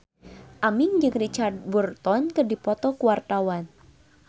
Aming jeung Richard Burton keur dipoto ku wartawan